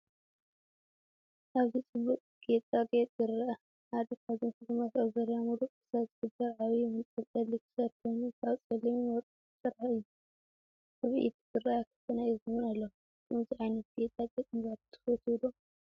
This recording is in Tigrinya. ኣበዚ ጽቡቕ ጌጣጌጥ ይርአ። ሓደ ካብዞም ሽልማት ኣብ ዙርያ ምሉእ ክሳድ ዝግበር ዓቢ መንጠልጠሊ ክሳድ ኮይኑ፡ ካብ ጸሊምን ወርቅን ዝተሰርሐ እዩ። ኣብ ኢድ ዝርኣያ ክልተ ናይ እዝኒ እውን ኣለዋ። ከምዚ ዓይነት ጌጣጌጥ ምግባር ትፈተዊ ዶ?